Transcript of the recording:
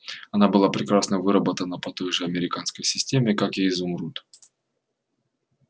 она была прекрасно выработана по той же американской системе как и изумруд